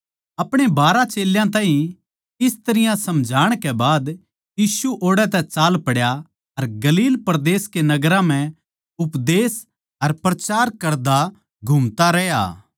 अपणे बारहां चेल्यां ताहीं इस तरियां समझाण कै बाद यीशु ओड़ै तै चाल पड्या अर गलील परदेस के नगरां म्ह उपदेश अर प्रचार करता घूमता रह्या